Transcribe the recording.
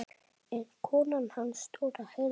En konan hans Dóra heyrði.